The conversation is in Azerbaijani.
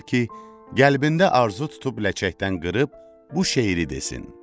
Bildirir ki, qəlbində arzu tutub ləçəkdən qırıb bu şeiri desin.